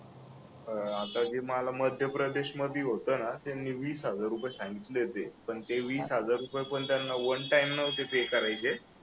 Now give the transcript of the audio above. अह आता हे मला मध्यप्रदेश मध्ये होत ना त्याने वीस हजार रुपये सांगितले होते पण ते वीस हजार पण त्यांना वन टाइम नव्हते पे करायचे